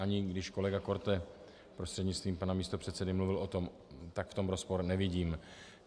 Ani když kolega Korte prostřednictvím pana místopředsedy mluvil o tom, tak v tom rozpor nevidím.